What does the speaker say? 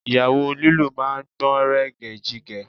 Ìyàwó lílù máa gbọ̀nrẹ̀gẹ̀jigẹ̀